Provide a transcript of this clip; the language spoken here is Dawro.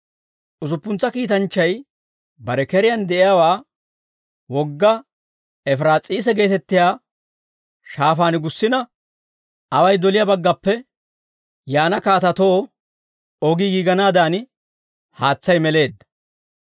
Usuppuntsa kiitanchchay bare keriyaan de'iyaawaa wogga Efiraas'iisa geetettiyaa shaafaan gussina away doliyaa baggappe yaana kaatatoo ogii giiganaadan, haatsay meleedda.